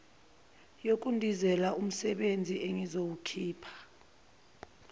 yokudizela umsebezi engizoyikhipha